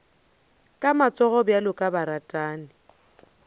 ka matsogo bjalo ka baratani